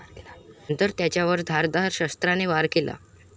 नंतर त्याच्यावर धारदार शस्त्राने वार केला.